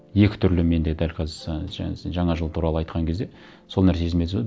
екі түрлі менде дәл қазір і жаңа сен жаңа жыл туралы айтқан кезде сол нәрсе есіме